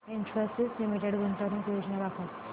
Infosys limited गुंतवणूक योजना दाखव